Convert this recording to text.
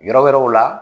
Yɔrɔ wɛrɛw la